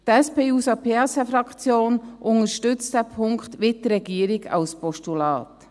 Die SP-JUSO-PSA-Fraktion unterstützt diesen Punkt, wie die Regierung, als Postulat.